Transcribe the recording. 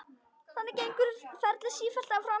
Þannig gengur ferlið sífellt áfram.